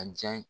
A diya ye